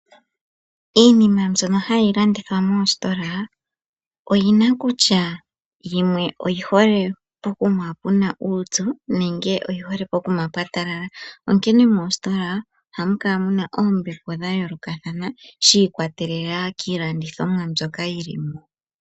Iinima mbyono hayi landithwa moositola oyina kutya yimwe oyihole pokuma puna uupyu nenge oyihole pokuma pwatalala. Onkene moositola ohamu kala muna oombepo dhayoolokathana shiikwatelela kiilandithomwa mbyoka yilimo .